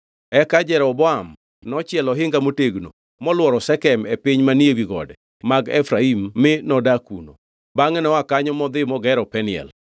Eka Jeroboam nochielo ohinga motegno molworo Shekem e piny manie wi gode mag Efraim mi nodak kuno. Bangʼe noa kanyo modhi mogero Peniel.